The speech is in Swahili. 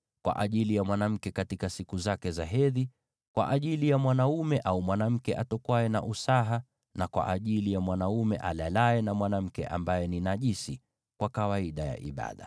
kwa ajili ya mwanamke katika siku zake za hedhi, kwa ajili ya mwanaume au mwanamke atokwaye na usaha, na kwa ajili ya mwanaume alalaye na mwanamke ambaye ni najisi kwa kawaida ya ibada.